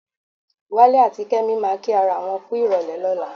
Wálé àti Kẹ́mi máa kí ara wọn kú ìrọ̀lẹ́ lọ́la.